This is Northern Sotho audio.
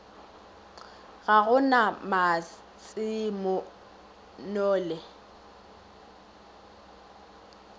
ga go na matse nole